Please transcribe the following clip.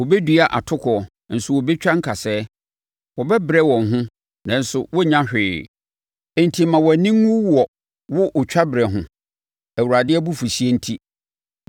Wɔbɛdua atokoɔ, nso wɔbɛtwa nkasɛɛ; wɔbɛbrɛ wɔn ho, nanso wɔrennya hwee. Enti ma wʼani nwu wɔ wo otwa berɛ ho. Awurade abufuhyeɛ nti.”